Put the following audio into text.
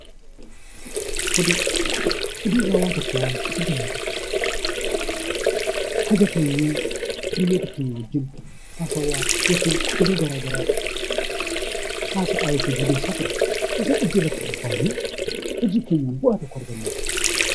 Oduu irraa waan tokko waan argamu hin qabu. Haga teenyee hiriyyoota keenya wajjin haasawaa yookiin oduu garaa garaa haasa'aa yookiin odeessaa turre osoo hojii irratti bobbaanee, hojii keenyaan bu'aa tokko arganna.